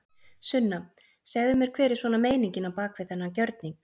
Sunna: Segðu mér hver er svona meiningin á bak við þennan gjörning?